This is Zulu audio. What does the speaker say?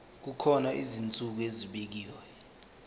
kukhona izinsuku ezibekiwe